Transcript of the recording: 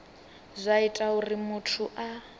zwa ita uri muthu a